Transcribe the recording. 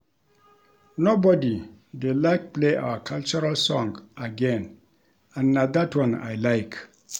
Nobody dey like play our cultural song again and na dat one I like